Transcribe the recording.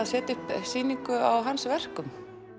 setja upp sýningu á hans verkum